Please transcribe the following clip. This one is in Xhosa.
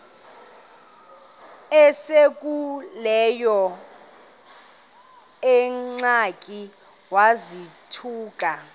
esekuleyo ingxaki wazothuka